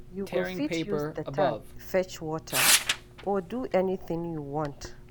You go fit use the tank fetch water or do anything you want